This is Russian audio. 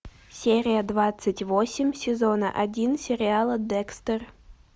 серия двадцать восемь сезона один сериала декстер